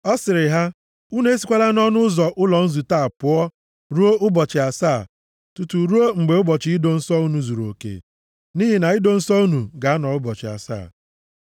Ọ sịrị ha: “Unu esikwala nʼọnụ ụzọ ụlọ nzute a pụọ ruo ụbọchị asaa, tutu ruo mgbe ụbọchị ido nsọ unu zuruoke, nʼihi na ido nsọ unu ga-anọ ụbọchị asaa.